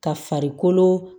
Ka farikolo